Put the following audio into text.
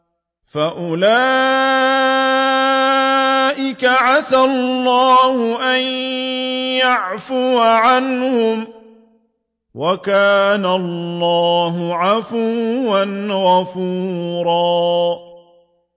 فَأُولَٰئِكَ عَسَى اللَّهُ أَن يَعْفُوَ عَنْهُمْ ۚ وَكَانَ اللَّهُ عَفُوًّا غَفُورًا